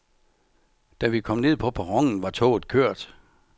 Da vi kom ned på perronen, var toget kørt.